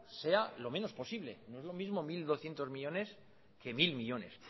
sea lo menos posible no es lo mismo mil doscientos millónes que mil millónes